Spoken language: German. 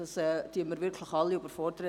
Damit würden wir wirklich alle überfordern.